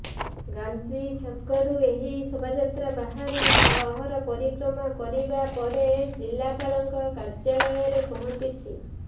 ଗାନ୍ଧୀ ଛକରୁ ଏହି ଶୋଭାଯାତ୍ରା ବାହାରି ସହର ପରିକ୍ରମା କରିବା ପରେ ଜିଲାପାଳଙ୍କ କାର୍ଯ୍ୟାଳୟରେ ପହଞ୍ଚିଛି